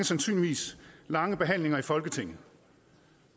sandsynligvis lange behandlinger i folketinget